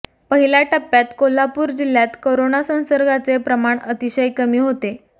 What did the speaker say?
पहिल्या टप्यात कोल्हापूर जिल्ह्यात करोना संसर्गाचे प्रमाण अतिशय कमी होते